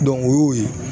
o y'o ye